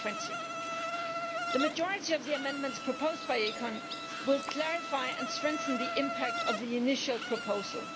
2020. The majority of the amendments proposed by ECON will clarify and strengthen the impact of the initial proposal.